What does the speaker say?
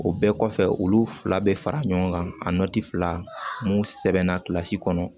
O bɛɛ kɔfɛ olu fila bɛ fara ɲɔgɔn kan a fila n'u sɛbɛnna kilasi kɔnɔ